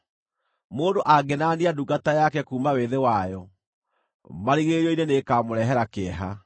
Mũndũ angĩnania ndungata yake kuuma wĩthĩ wayo, marigĩrĩrio-inĩ nĩĩkamũrehera kĩeha.